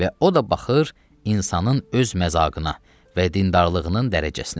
Və o da baxır insanın öz məzaqına və dindarlığının dərəcəsinə.